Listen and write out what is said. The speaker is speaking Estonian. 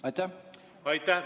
Aitäh!